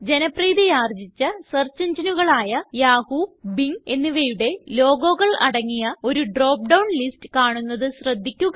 ജനപ്രീതിയാർജിച്ച search engineകളായ Yahoo Bing എന്നിവയുടെ logoകൾ അടങ്ങിയ ഒരു ഡ്രോപ്പ്ഡൌൺ ലിസ്റ്റ് കാണുന്നത് ശ്രദ്ധിക്കുക